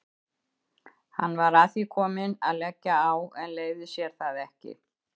Hann var að því kominn að leggja á en leyfði sér það ekki.